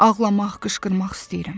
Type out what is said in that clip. Ağlamaq, qışqırmaq istəyirəm.